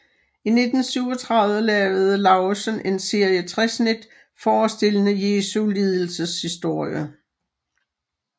I 1937 lavede Lauesen en serie træsnit forestillende Jesu lidelseshistorie